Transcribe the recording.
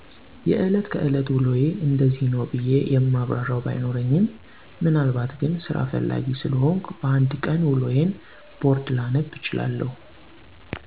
የእለት ከእለት ውሎየ እንደዚህ ነው ብየ የማብራርው ባይኖርኝም ምናልባት ግን ሰራ ፍላጌ ሰለሆንኩ በ አንድ ቀን ውሎየን ቦርድ ላነብ እችላለው።